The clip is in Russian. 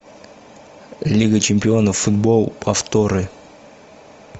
лига чемпионов футбол повторы